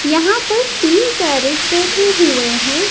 यहां पर तीन पैरेट बैठे हुए है।